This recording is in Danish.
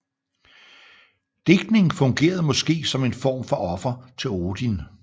Digtning fungerede måske som en form for offer til Odin